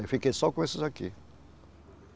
Eu fiquei só com esses aqui.